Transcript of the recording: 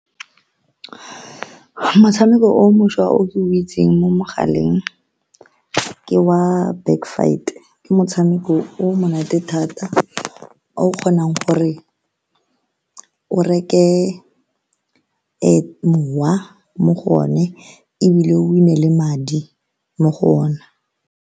Motshameko o mošwa o ke o itseng mo mogaleng ke wa Back Fight, ke motshameko o o monate thata o o kgonang gore o reke mowa mo go one, ebile o win-e le madi mo go ona.